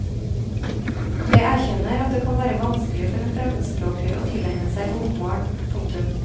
Jeg erkjenner at det kan være vanskelig for en fremmedspråklig å tilegne seg bokmål. punktum